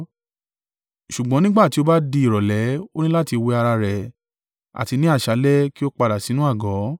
Ṣùgbọ́n nígbà tí ó bá di ìrọ̀lẹ́ o ní láti wẹ ara rẹ, àti ní àṣálẹ́ kí o padà sínú àgọ́.